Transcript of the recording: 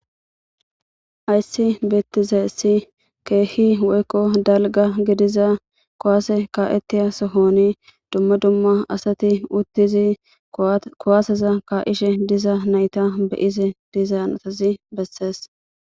Ayssi beettizeessi keehi woykko dalga gidiza kowaase ka7ettiya sohoni dumma dumma asati uttizi kowaaseza ka7ishe diza nayta beyise dizan otazi bessees